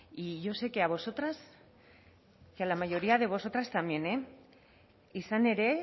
y yo sé que a vosotras que a la mayoría de vosotras también eh izan ere